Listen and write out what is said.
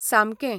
सामकें.